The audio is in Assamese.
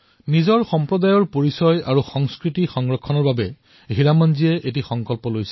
নিজৰ সম্প্ৰদায়ৰ সংস্কৃতি আৰু পৰিচয় ৰক্ষা কৰাৰ বাবে হীৰামন জীয়ে এক দায়িত্ব গ্ৰহণ কৰিলে